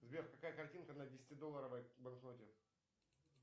сбер какая картинка на десяти долларовой банкноте